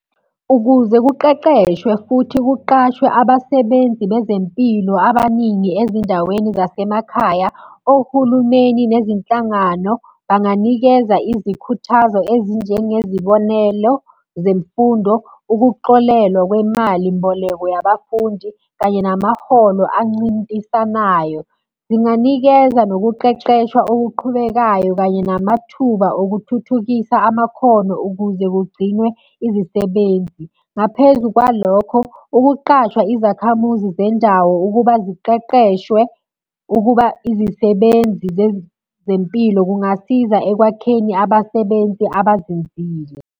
Ukuze kuqeqeshwe futhi kuqashwe abasebenzi bezempilo abaningi ezindaweni zasemakhaya, ohulumeni nezinhlangano banganikeza izikhuthazo ezinjengezibonelo zemfundo, ukuxolelwa kwemalimboleko yabafundi, kanye namaholo ancintisanayo. Zinganikeza nokuqeqeshwa okuqhubekayo kanye namathuba okuthuthukisa amakhono ukuze kugcinwe izisebenzi. Ngaphezu kwalokho, ukuqashwa izakhamuzi zendawo ukuba ziqeqeshwe ukuba izisebenzi zezempilo kungasiza ekwakheni abasebenzi abazinzile.